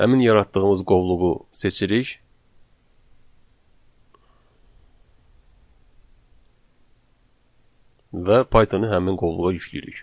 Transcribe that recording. Həmin yaratdığımız qovluğu seçirik və Python-u həmin qovluğa yükləyirik.